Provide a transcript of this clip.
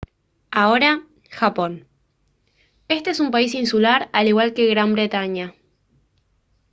ahora japón este es un país insular al igual que gran bretaña